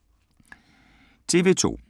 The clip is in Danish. TV 2